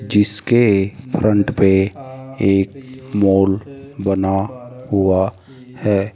जिसके फ्रंट पे एक मॉल बना हुआ है।